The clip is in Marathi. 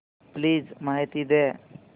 प्लीज माहिती द्या